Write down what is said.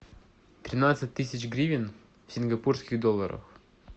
тринадцать тысяч гривен в сингапурских долларах